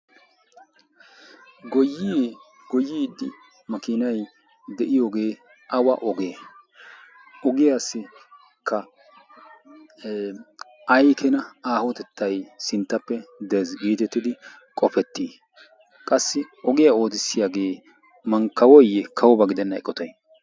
goyie goyiidi makiinai de7iyoogee awa ogee ogiyaassikka ai kena aahotettai sinttappe dgiitettidi qofettii? qassi ogiyaa ootissiyaagee mankkawoyye kawuba gidenna eqotai?